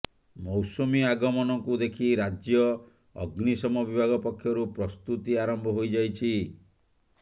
ମୌସୁମୀ ଆଗମନକୁ ଦେଖି ରାଜ୍ୟ ଅଗ୍ନିଶମ ବିଭାଗ ପକ୍ଷରୁ ପ୍ରସ୍ତୁତି ଆରମ୍ଭ ହୋଇଯାଇଛି